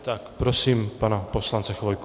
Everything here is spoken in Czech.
Tak prosím pana poslance Chvojku.